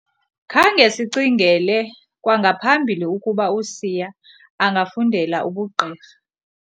Khange sicingele kwangaphambili ukuba uSiya angafundela ubugqirha.